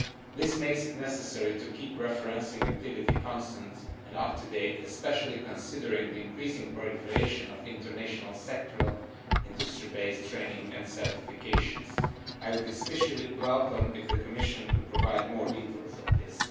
This makes it necessary to keep referencing activity constant and up to date, especially considering the increasing proliferation of international sectoral, industry based training and certifications. I would especially welcome if the Commission could provide more details on this.